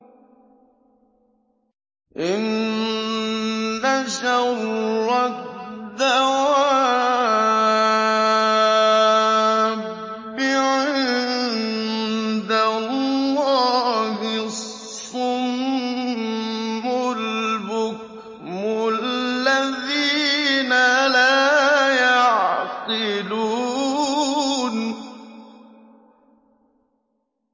۞ إِنَّ شَرَّ الدَّوَابِّ عِندَ اللَّهِ الصُّمُّ الْبُكْمُ الَّذِينَ لَا يَعْقِلُونَ